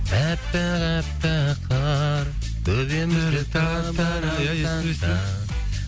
аппақ аппақ қар ия